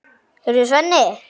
Heyrðu, Svenni.